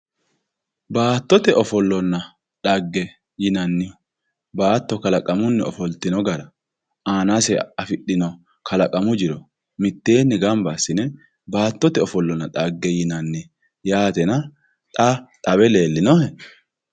baattote ofollonna dhagge yinanni baatto kalaqamunni ofoltino gara aanase afidhino kalaqamu jiro mitteenni gamba assine baattote ofollonna dhagge yinanni yaatena xa xawe leellinohe